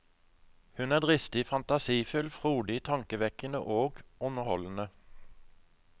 Hun er dristig, fantasifull, frodig, tankevekkende og underholdende.